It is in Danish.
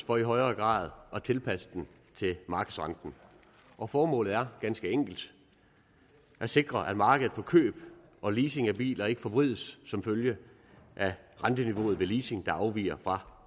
for i højere grad at tilpasse den til markedsrenten og formålet er ganske enkelt at sikre at markedet for køb og leasing af biler ikke forvrides som følge af renteniveauet ved leasing der afviger fra